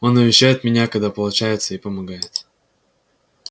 он навещает меня когда получается и помогает